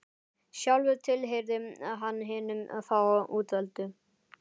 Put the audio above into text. Sjálfur tilheyrði hann hinum fáu útvöldu.